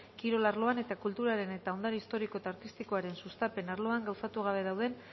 kirol arloan eta kulturaren eta ondare historiko eta artistikoaren sustapen arloan gauzatu gabe dauden